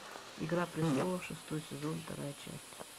игра престолов шестой сезон вторая часть